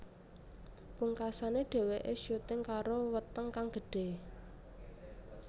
Pungkasané dheweké syuting karo weteng kang gedhe